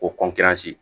Ko